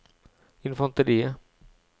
infanteriet